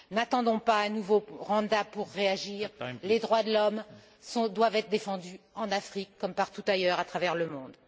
N'attendons pas un nouveau Rwanda pour réagir, les droits de l'homme doivent être défendus en Afrique comme partout ailleurs à travers le monde.